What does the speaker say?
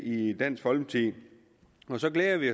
i dansk folkeparti så glæder vi